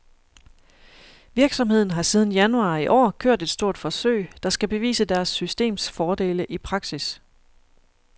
Virksomheden har siden januar i år kørt et stort forsøg, der skal bevise deres systems fordele i praksis.